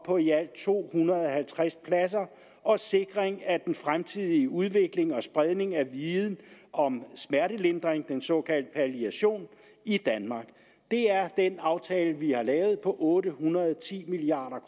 på i alt to hundrede og halvtreds og sikring af den fremtidige udvikling og spredning af viden om smertelindring den såkaldte palliation i danmark det er den aftale vi har lavet på otte hundrede og ti milliard